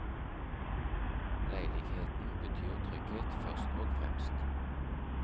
Leiligheten betyr trygghet først og fremst.